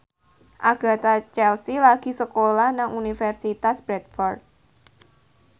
Agatha Chelsea lagi sekolah nang Universitas Bradford